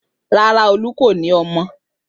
Rárá, Olú kò ní àwọn ọmọ.